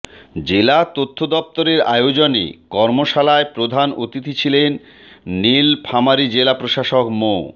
জেলা তথ্য দপ্তরের আয়োজনে কর্মশালায় প্রধান অতিথি ছিলেন নীলফামারী জেলা প্রশাসক মো